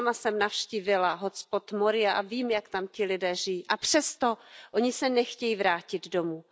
Já sama jsem navštívila hotspot Moria a vím, jak tam ti lidé žijí, a přesto se nechtějí vrátit domů.